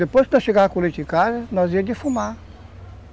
Depois que nós chegava com o leite em casa, nós ia defumar.